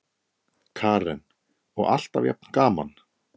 Karen: Og alltaf jafn gaman?